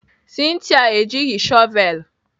Cynthia ejighị shọvelụ.